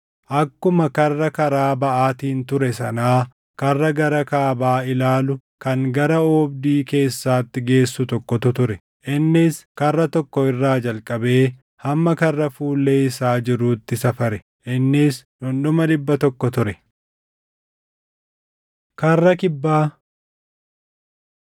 Akkuma karra karaa baʼaatiin ture sanaa karra gara kaabaa ilaalu kan gara oobdii keessaatti geessu tokkotu ture. Innis karra tokko irraa jalqabee hamma karra fuullee isaa jiruutti safare; innis dhundhuma dhibba tokko ture. Karra Kibbaa